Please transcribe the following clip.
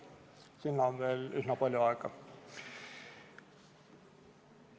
Sinna on veel üsna palju aega.